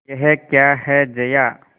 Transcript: यह क्या है जया